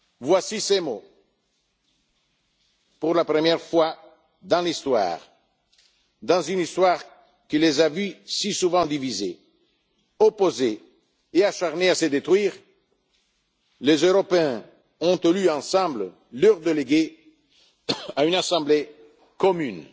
Voici ses mots Pour la première fois en effet dans l'histoire, dans une histoire qui les a vus si souvent divisés, opposés, acharnés à se détruire, les Européens ont élu, ensemble, leurs délégués à une Assemblée commune.